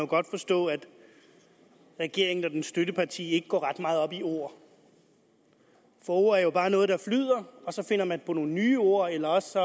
godt forstå at regeringen og dens støtteparti ikke går ret meget op i ord for ord er jo bare noget der flyder og så finder man på nogle nye ord eller også